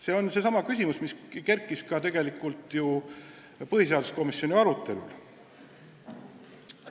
See on küsimus, mis kerkis ka põhiseaduskomisjoni arutelul.